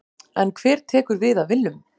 En hver tekur við af Willum?